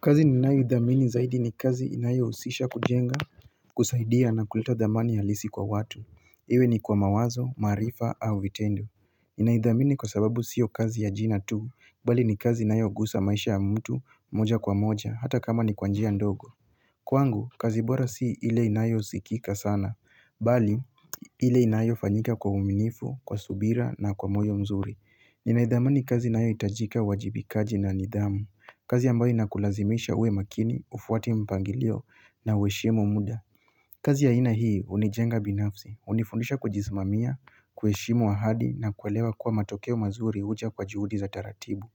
Kazi ninaidhamini zaidi ni kazi inayo husisha kujenga kusaidia na kuleta dhamani ya lisi kwa watu. Iwe ni kwa mawazo, maarifa au vitendo. Inaidhamini kwa sababu sio kazi ya jina tu bali ni kazi inayo ugusa maisha ya mtu moja kwa moja hata kama ni kwanjia ndogo Kwangu, kazi bora si ili inayo zikika sana Bali, ili inayo fanyika kwa uaminifu, kwa subira na kwa moyo mzuri Ninaidhamini kazi inayo itajika wajibikaji na nidhamu kazi ambayo inakulazimisha uwe makini, ufuwati mpangilio na weshimu muda kazi ya ina hii unijenga binafsi, unifundisha kujisimamia, kueshimu ahadi na kuelewa kuwa matokeo mazuri uja kwa juhudi za taratibu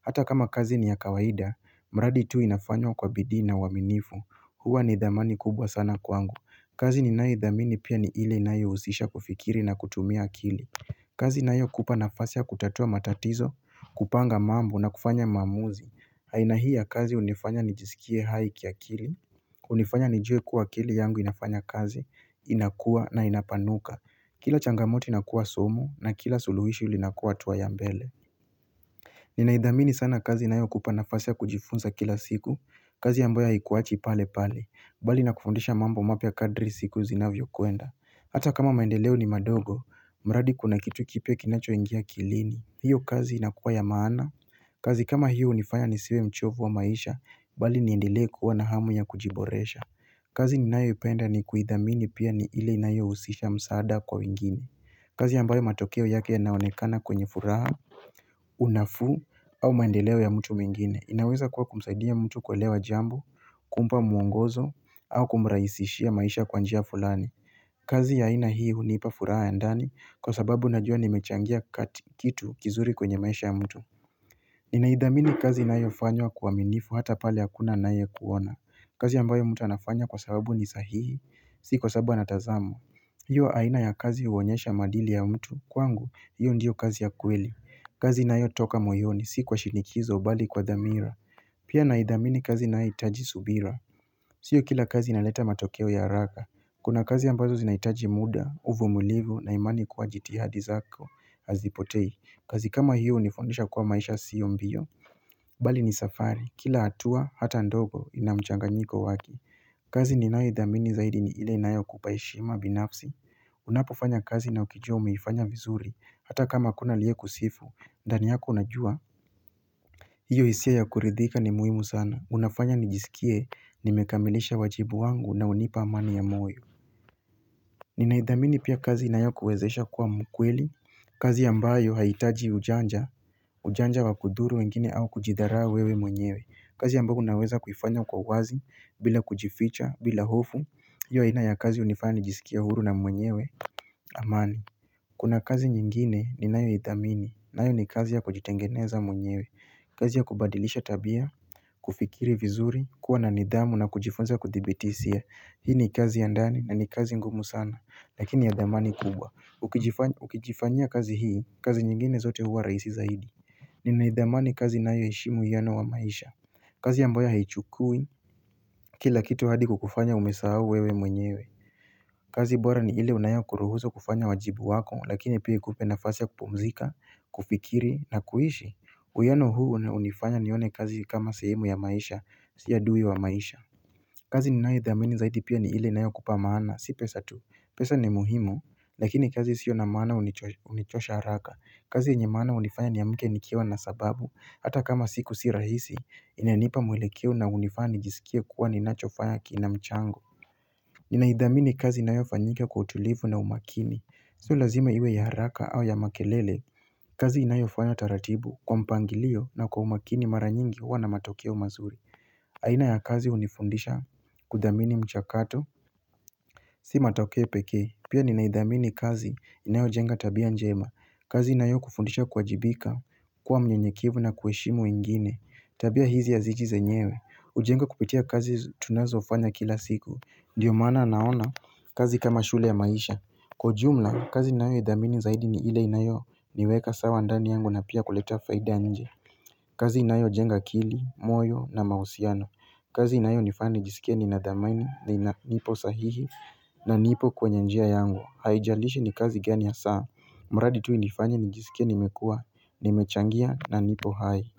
Hata kama kazi ni ya kawaida, mradi tu inafanywa kwa bidii na uaminifu, kuwa na nii idhamani kubwa sana kwangu kazi ni naidhamini pia ni ile na yo usisha kufikiri na kutumia akili kazi na hiyo kupa nafasi ya kutatua matatizo, kupanga mambo na kufanya mamuzi haina hii ya kazi unifanya nijisikie hai ya kiakili unifanya nijue kuwa akili yangu inafanya kazi, inakua na inapanuka Kila changamoto inakua somo na kila suluhisho lilinakua atuwa ya mbele Ninaidhamini sana kazi inayo kupa nafasi ya kujifunza kila siku kazi yambayo haikuachi pale pale balina kufundisha mambo mapia kadri siku zinavyo kuenda Hata kama maendeleo ni madogo, mradi kuna kitu kipia kinacho ingia akilini hiyo kazi inakuwa ya maana kazi kama hiyo unifanya nisiwe mchovu wa maisha, bali niendelee kuwa na hamu ya kujiboresha kazi ninaeo ipenda ni kuhidhamini pia ni ile inayohusisha msaada kwa wengine kazi yambayo matokeo yake yanaonekana kwenye furaha Unafu au maendeleo ya mtu mwengine, inaweza kuwa kumsaidia mtu kuelewa jambo, kumpa muongozo, au kumraisishia maisha kwa njia fulani kazi ya aina hii hunipa fura ya ndani kwa sababu najua nimechangia kitu kizuri kwenye maisha ya mtu Ninaidhamini kazi naayo fanywa kwa minifu hata pale hakuna nae kuona kazi ambayo mtu anafanya kwa sababu ni sahihi, si kwa sababu anatazamwa hiyo aina ya kazi huwonyesha madili ya mtu, kwangu, hiyo ndiyo kazi ya kweli kazi inayotoka moyoni, si kwa shinikizo, bali kwa dhamira Pia naidhamini kazi naayo itaji subira Sio kila kazi inaleta matokeo ya haraka Kuna kazi ambazo zinaitaji muda, uvumulifu na imani kuwa jitihadi zako, hazipotei, kazi kama hiyo unifundisha kuwa maisha siyo mbiyo Bali ni safari, kila hatua, hata ndogo, inamchanganyiko waki kazi ninao idhamini zaidi ni ile inayo kupa heshima binafsi Unapofanya kazi na ukijua umeifanya vizuri, hata kama kuna aliye kusifu, ndani yako unajua hiyo hisia ya kuridhika ni muhimu sana, unafanya nijisikie, nimekamilisha wajibu wangu na unipa amani ya moyo Ninaidhamini pia kazi inayo kuwezesha kuwa mkweli, kazi yambayo haitaji ujanja, ujanja wa kuduru wengine au kujidaraa wewe mwenyewe kazi yambayo unaweza kufanya kwa wazi, bila kujificha, bila hofu, hiyo aina ya kazi unifanya nijisikia huru na mwenyewe, amani Kuna kazi nyingine ni nayo idhamini, nayo ni kazi ya kujitengeneza mwenyewe, kazi ya kubadilisha tabia, kufikiri vizuri, kuwa na nidhamu na kujifunza kuthibitisia Hii ni kazi ya ndani na ni kazi ngumu sana lakini ya damani kubwa ukijifanyia kazi hii kazi nyingine zote huwa raisi zaidi ni naidhamani kazi na heshimu uhiyano wa maisha kazi yambayo haichukui Kila kitu hadi kukufanya umesawo wewe mwenyewe kazi bora ni ile unayewa kuruhuzu kufanya wajibu wako lakini pia ikupe nafasa kupumzika kufikiri na kuishi Uyano huu unifanya nione kazi kama sehemu ya maisha siyo adui wa maisha kazi ninaidhamini zaidi pia ni ile inayokupa maana si pesa tu pesa ni muhimu Lakini kazi sio na maana unichosha haraka kazi enye maana unifanya niyamke nikiewa na sababu Hata kama siku si rahisi inanipa mwelekeo na unifanya nijisikia kuwa ni nachofanya kinamchango Ninaidhamini kazi inayo fanyika kwa utulivu na umakini Sio lazima iwe ya haraka au ya makelele kazi inayo fanyo taratibu kwa mpangilio na kwa umakini mara nyingi huwa na matokeo mazuri aina ya kazi unifundisha Kudamini mchakato Si matokeo peke pia ninaidhamini kazi inayojenga tabia njema kazi inayo kufundisha kuajibika kuwa mnyenyekevu na kuheshimu wengine Tabia hizi yaziji zenyewe Ujengwa kupitia kazi tunazo ufanya kila siku Ndiyo maana naona kazi kama shule ya maisha Kwaujumla kazi inayo idhamini zaidi ni ile inayo niweka sawa andani yangu na pia kuleta faida anje kazi inayo jenga akili moyo na mausiano kazi inayo nifanya nijisikie ni nadamani ni na nipo sahihi na nipo kwenye njia yangu Haijalishi ni kazi gani ha saa mradi tu inifanye nijisikie nimekua ni mechangia na nipo hai.